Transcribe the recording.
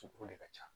de ka ca